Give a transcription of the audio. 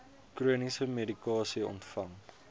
chroniese medikasie ontvang